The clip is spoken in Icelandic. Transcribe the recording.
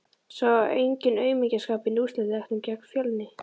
Sá enginn aumingjaskapinn í úrslitaleiknum gegn Fjölni?